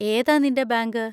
ഏതാ നിന്‍റെ ബാങ്ക്?